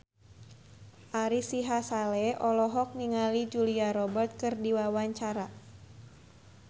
Ari Sihasale olohok ningali Julia Robert keur diwawancara